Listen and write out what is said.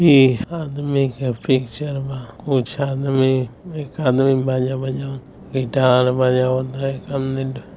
ईहा आदमी के पिक्चर मा कुछ आदमी एक आदमी बाजा बजावित हई गिटार बजावित हई --